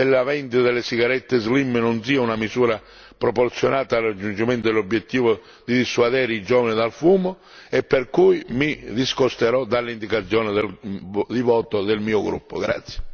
Sono convinto che il divieto della vendita delle sigarette slim non sia una misura proporzionata al raggiungimento dell'obiettivo di dissuadere i giovani dal fumo, per cui mi discosterò dall'indicazione di voto del mio gruppo.